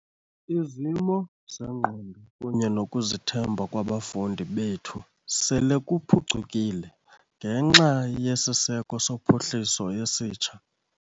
"Izimo zengqondo kunye nokuzithemba kwabafundi bethu sele kuphucukile ngenxa yesiseko sophuhliso esitsha."